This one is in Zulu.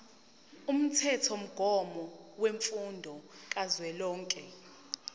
umthethomgomo wemfundo kazwelonke